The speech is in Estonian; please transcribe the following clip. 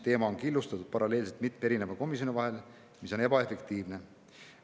Teema on killustatud paralleelselt mitme erineva komisjoni vahel, mis on ebaefektiivne.